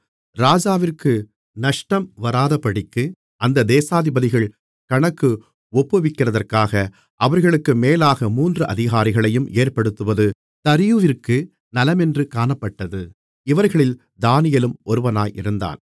ராஜாவிற்கு நஷ்டம் வராதபடிக்கு அந்த தேசாதிபதிகள் கணக்கு ஒப்புவிக்கிறதற்காக அவர்களுக்கு மேலாக மூன்று அதிகாரிகளையும் ஏற்படுத்துவது தரியுவிற்கு நலமென்று காணப்பட்டது இவர்களில் தானியேலும் ஒருவனாயிருந்தான்